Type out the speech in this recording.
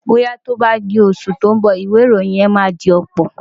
Bóyá tó bá di oṣù tó ń bọ̀, ìwẹ̀ ìròyìn máa dọ̀pọ̀.